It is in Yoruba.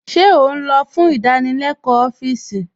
Ṣé ó n'ọ̀ fún ìdánílẹ̀kọ̀ ọfíìsí?